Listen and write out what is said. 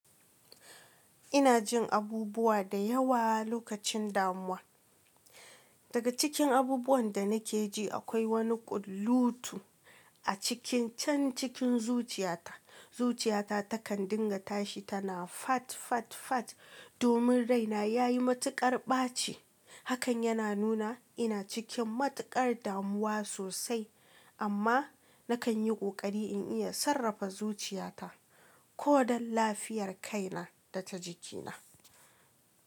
Ina jin abubuwa da yawa lokacin damuwa. Daga cikin abubuwan da nake ji akwai wani ƙullutu a cikin can cikin zuciyata. Zuciyata takan dinga tashi tana fat fat fat domin raina ya yi matuƙar ɓaci. Hakan yana nuna ina cikin matuƙar damuwa sosai amma nakan yi ƙoƙari in iya sarrafa zuciyata kodan lafiyar kaina data jikina.